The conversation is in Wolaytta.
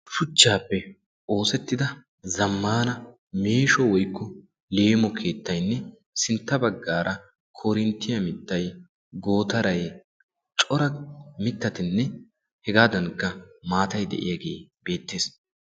shuchchaappe oosettida zammaana meesho woykku leemo keettaynne sintta baggaara korinttiyaa mittay gootaray cora mittatinne hegaadankka maatay de'iyaagee beettees